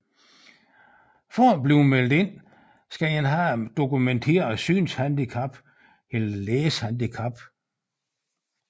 For at blive meldt ind skal man have et dokumenteret synshandicap eller læsehandicap